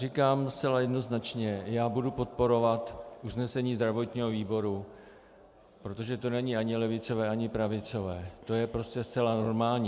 Říkám zcela jednoznačně: Já budu podporovat usnesení zdravotního výboru, protože to není ani levicové ani pravicové, to je prostě zcela normální.